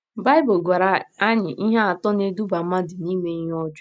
Baịbụl gwara anyị ihe atọ na - eduba mmadụ n’ime ihe ọjọọ.